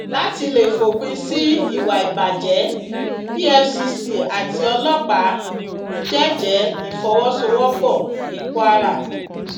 láti lè fòpin sí ìwà ìbàjẹ efcc àti ọlọpàá jẹẹjẹ ìfọwọsowọpọ ní kwara